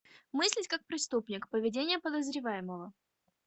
мыслить как преступник поведение подозреваемого